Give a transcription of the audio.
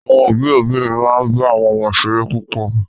Àwọn òbí òbí mi máa ń bá àwọn ọmọ ṣeré púpọ̀